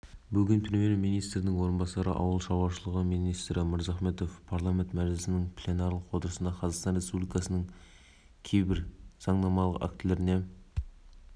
айта кетейік парламент мәжілісінің пленарлық отырысында қазақстан республикасының кейбір заңнамалық актілеріне өсімдіктер және жануарлар дүниесі мәселелері бойынша өзгерістер мен толықтырулар